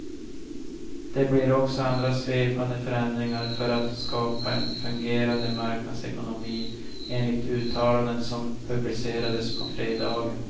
Det blir också andra svepande förändringar för att skapa en fungerande marknadsekonomi, enligt uttalanden som publicerades på fredagen.